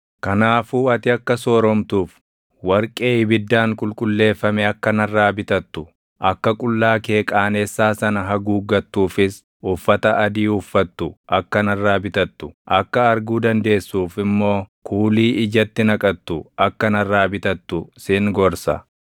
Kanaafuu ati akka sooromtuuf, warqee ibiddaan qulqulleeffame akka narraa bitattu, akka qullaa kee qaanessaa sana haguuggattuufis uffata adii uffattu akka narraa bitattu, akka arguu dandeessuuf immoo kuulii ijatti naqattu akka narraa bitattu sin gorsa.